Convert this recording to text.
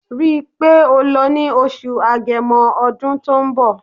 Rí í pé o lọ ní Oṣù Agẹmọ ọdún tó ń bọ̀